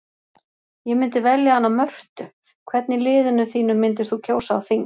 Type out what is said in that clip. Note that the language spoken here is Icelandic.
Ég myndi velja hana Mörtu Hvern í liðinu þínu myndir þú kjósa á þing?